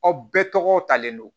Aw bɛɛ tɔgɔ talen don